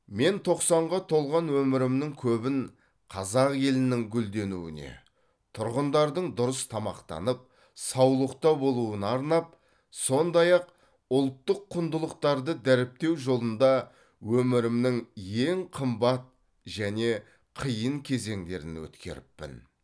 мен тоқсанға толған өмірімнің көбін қазақ елінің гүлденуіне тұрғындардың дұрыс тамақтанып саулықта болуына арнап сондай ақ ұлттық құндылықтарды дәріптеу жолында өмірімнің ең қымбат және қиын кезеңдерін өткеріппін